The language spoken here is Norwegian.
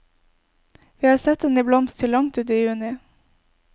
Vi har sett den i blomst til langt uti juni.